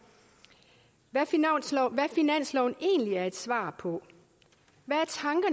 hvad finansloven egentlig er et svar på hvad